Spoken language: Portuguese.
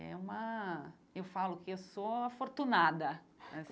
É uma... eu falo que eu sou afortunada